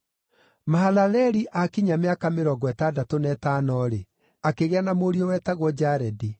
Mahalaleli aakinyia mĩaka mĩrongo ĩtandatũ na ĩtano-rĩ, akĩgĩa na mũriũ wetagwo Jaredi.